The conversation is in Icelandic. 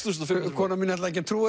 konan mín ætlaði ekki að trúa